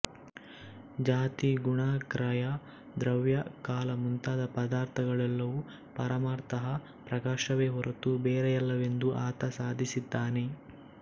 ಜಾತಿ ಗುಣ ಕ್ರಯಾ ದ್ರವ್ಯ ಕಾಲ ಮುಂತಾದ ಪದಾರ್ಥಗಳೆಲ್ಲವೂ ಪರಮಾರ್ಥತಃ ಪ್ರಕಾಶವೇ ಹೊರತು ಬೇರೆಯಲ್ಲವೆಂದು ಆತ ಸಾಧಿಸಿದ್ದಾನೆ